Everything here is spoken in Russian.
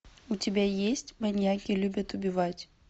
у тебя есть маньяки любят убивать